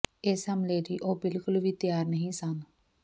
ਇਸ ਹਮਲੇ ਲਈ ਉਹ ਬਿਲਕੁਲ ਵੀ ਤਿਆਰ ਨਹੀਂ ਸਨ